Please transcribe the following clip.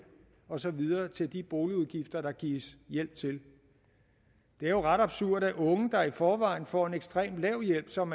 og så videre til de boligudgifter der gives hjælp til det er jo ret absurd at unge der i forvejen får en ekstremt lav hjælp som